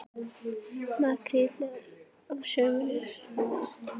Makríll á sumrin.